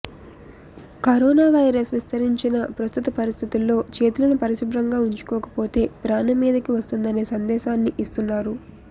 corona virus విస్తరించిన ప్రస్తుత పరిస్థితుల్లో చేతులను పరిశుభ్రంగా ఉంచుకోకపోతే ప్రాణం మీదికి వస్తుందనే సందేశాన్ని ఇస్తున్నారు